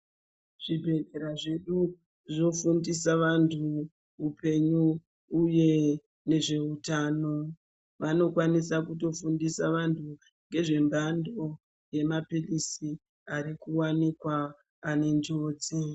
Zvibhehlera zvedu zvofundisa vanhu upenyu uye nezveutano. Vanokwanisa kutifundisa vantu ngezve mbando yemaphilisi arikuwanikwa ane njodzi.